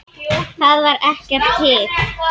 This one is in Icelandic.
Þar var ekkert hik.